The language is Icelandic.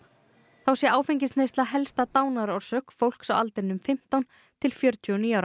þá sé áfengisneysla helsta dánarorsök fólks á aldrinum fimmtán til fjörutíu og níu ára